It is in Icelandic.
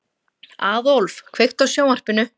Aðólf, kveiktu á sjónvarpinu.